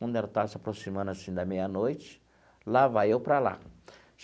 Quando estava se aproximando assim da meia-noite, lá vai eu para lá.